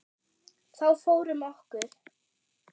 Þá fór um okkur.